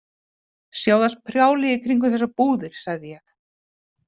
Sjáðu allt prjálið í kringum þessar búðir, sagði ég.